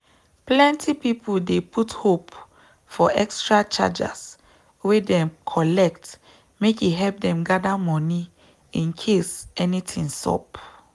plenty people dey put hope for extra chargers wey dem collect make e help them gather money incase anything sup.